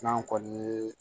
N'an kɔni ye